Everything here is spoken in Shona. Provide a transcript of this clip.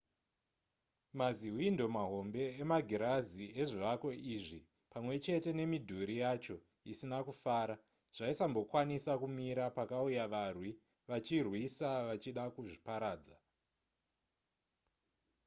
mazihwindo mahombe emagirazi ezvivako izvi pamwe chete nemidhuri yacho isina kufara zvaisambokwanisa kumira pakauya varwi vachirwisa vachida kuzviparadza